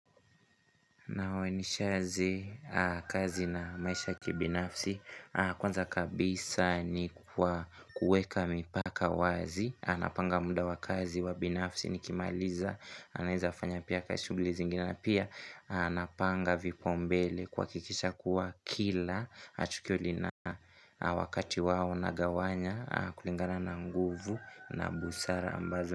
Nawe nishazi kazi na maisha ya kibinafsi Kwanza kabisa ni kwa kuweka mipaka wazi Anapanga muda wa kazi wa binafsi nikimaliza Anapanga vipaumbele kuhakikisha kuwa kila tukio lina wakati wao unagawanya kulingana na nguvu na busara ambazo.